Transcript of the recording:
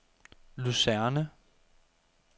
Lucerne